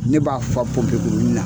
Ne b'a faa pɔnpe kuruni na